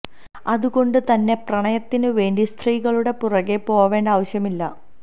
അതുകൊണ്ട് തന്നെ പ്രണയത്തിന് വേണ്ടി സ്ത്രീകളുടെ പുറകേ പോവേണ്ട ആവശ്യം ഇല്ല